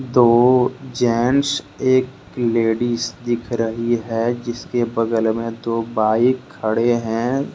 दो जेंट्स एक लेडिस दिख रही है जिसके बगल में दो बाइक खड़े हैं।